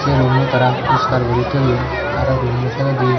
ei roommo tara poriskar guri toyon aro roommo saaidodi.